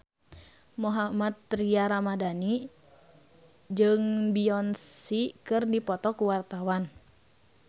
Mohammad Tria Ramadhani jeung Beyonce keur dipoto ku wartawan